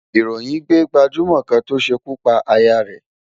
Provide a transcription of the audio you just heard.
Ìròyìn gbé gbajúmọ̀ kan tó ṣekú pa aya rẹ̀